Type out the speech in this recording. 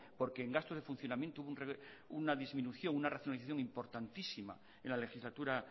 porque en gastos de funcionamiento una disminución una racionalización importantísima en la legislatura